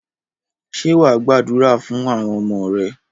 Ṣé wà á gbàdúrà fún àwọn ọmọ rẹ?